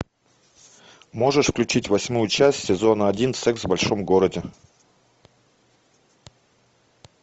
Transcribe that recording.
можешь включить восьмую часть сезона один секс в большом городе